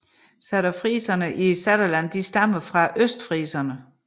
Saterfriserne i Saterland stammer fra østfriserne